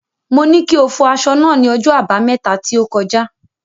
Mo ní kí o fọ aṣọ náà ní ọjọ́ Àbámẹ́ta tí ó kọjá.